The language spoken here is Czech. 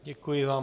Děkuji vám.